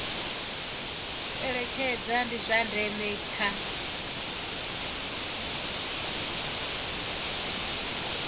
eletshedza ndi zwa ndeme kha